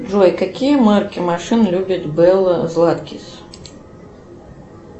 джой какие марки машин любит белла златкис